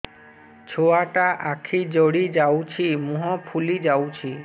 ଛୁଆଟା ଆଖି ଜଡ଼ି ଯାଉଛି ମୁହଁ ଫୁଲି ଯାଉଛି